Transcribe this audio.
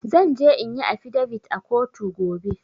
Zan je inyi affidavit a kotu gobe.